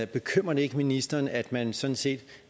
bekymrer det ikke ministeren at man sådan set